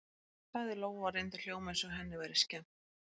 sagði Lóa og reyndi að hljóma eins og henni væri skemmt.